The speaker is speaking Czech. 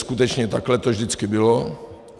Skutečně takhle to vždycky bylo.